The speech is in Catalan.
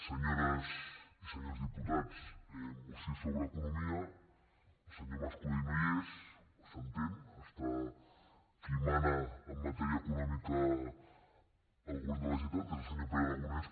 senyores i senyors diputats moció sobre economia el senyor mas colell no hi és s’entén hi ha qui mana en matèria econòmica al govern de la generalitat que és el senyor pere aragonès